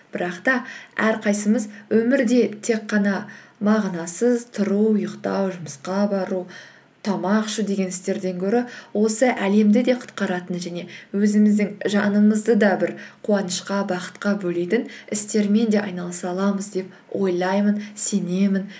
бірақ та әрқайсымыз өмірде тек қана мағынасыз тұру ұйықтау жұмысқа бару тамақ ішу деген істерден гөрі осы әлемді де құтқаратын және өзіміздің жанымызды да бір қуанышқа бақытқа бөлейтін істермен де айналыса аламыз деп ойлаймын сенемін